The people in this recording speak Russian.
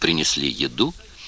принесли еду